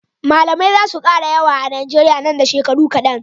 Mallamai zasu kara yawa a nigeria nan da shekaru kadan